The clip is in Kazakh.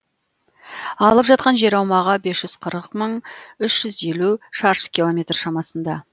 алып жатқан жер аумағы бес жүз қырық мың үш жүз елу шаршы километр шамасында